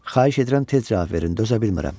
Xahiş edirəm tez cavab verin, dözə bilmirəm.